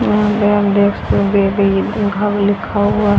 baby घर लिखा हुआ --